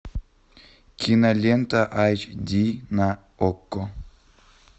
кинолента эйч ди на окко